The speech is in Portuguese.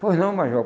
Pois não, major.